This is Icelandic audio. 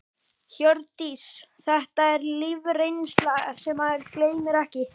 Hjördís: Þetta er lífsreynsla sem maður gleymir ekki?